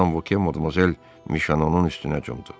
Madam Vokye Modmozel Mişonun üstünə cumdu.